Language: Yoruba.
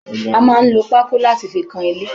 A máa ń lò pako láti fi kan ilé